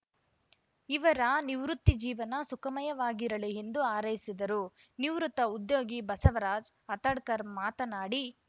ಇವರ ನಿವೃತ್ತಿ ಜೀವನ ಸುಖಮಯವಾಗಿರಲಿ ಎಂದು ಹಾರೈಸಿದರು ನಿವೃತ್ತ ಉದ್ಯೋಗಿ ಬಸವರಾಜ್‌ ಆತಡ್ಕರ್‌ ಮಾತನಾಡಿ